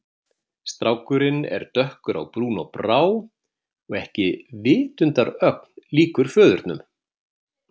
Strákurinn er dökkur á brún og brá og ekki vitundarögn líkur föðurnum.